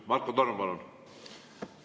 Marko Torm, palun!